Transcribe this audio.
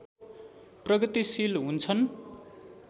प्रगतिशील हुन्छन्